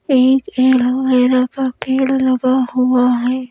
एक एलोवेरा का पेड़ लगा हुआ है।